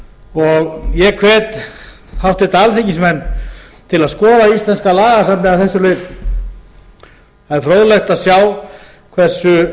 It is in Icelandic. sinnar ég hef háttvirtir alþingismenn til að skoða íslenska lagasafnið að þessu leyti það er fróðlegt að sjá hversu